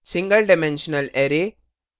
single dimensional array single dimensional array